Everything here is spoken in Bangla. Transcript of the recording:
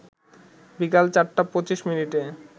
বিকাল ৪টা ২৫মিনিটে